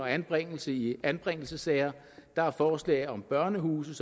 anbringelse i anbringelsessager der er forslag om børnehuse